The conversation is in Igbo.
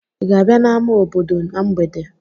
Ị ga-abịa n'ámá obodo na mgbede?